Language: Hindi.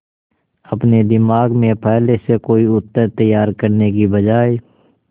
अपने दिमाग में पहले से कोई उत्तर तैयार करने की बजाय